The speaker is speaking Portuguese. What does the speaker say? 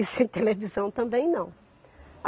E sem televisão também não.